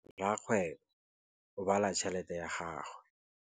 Rakgwêbô o bala tšheletê ya gagwe.